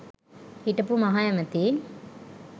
හිටපු මහ ඇමති